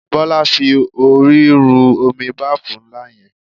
Bọ́lá fi orí ru omi báàfù ńlá yẹn.